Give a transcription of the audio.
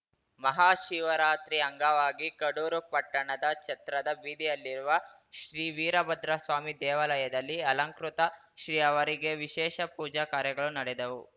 ಮಹಾಶಿವರಾತ್ರಿ ಅಂಗವಾಗಿ ಕಡೂರು ಪಟ್ಟಣದ ಛತ್ರದ ಬೀದಿಯಲ್ಲಿರುವ ಶ್ರೀವೀರಭದ್ರಸ್ವಾಮಿ ದೇವಾಲಯದಲ್ಲಿ ಅಲಂಕೃತ ಶ್ರೀ ಅವರಿಗೆ ವಿಶೇಷ ಪೂಜಾ ಕಾರ್ಯಗಳು ನಡೆದವು